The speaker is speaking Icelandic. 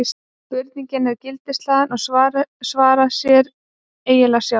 spurningin er gildishlaðin og svarar sér eiginlega sjálf